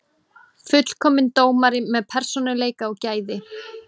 Fullkominn dómari með persónuleika og gæði.